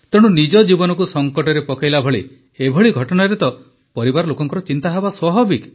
ତେଣୁ ନିଜ ଜୀବନକୁ ସଙ୍କଟରେ ପକାଇଲା ଭଳି ଏଭଳି ଘଟଣାରେ ତ ପରିବାର ଲୋକଙ୍କ ଚିନ୍ତା ହେବା ସ୍ୱାଭାବିକ